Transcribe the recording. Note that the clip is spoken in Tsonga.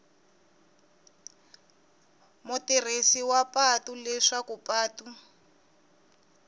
mutirhisi wa patu leswaku patu